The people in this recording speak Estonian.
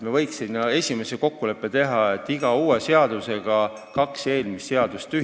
Me võiksime teha esimese kokkuleppe, et iga uus seadus tühistab kaks vana seadust.